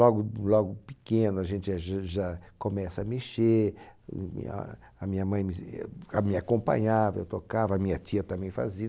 Logo logo pequeno a gente já já começa a mexer, a a minha mãe me acompanhava, eu tocava, a minha tia também fazia.